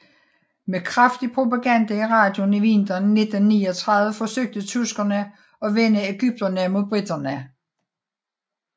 Med kraftig propaganda i radioen i vinteren 1939 forsøgte tyskerne at vende ægypterne mod briterne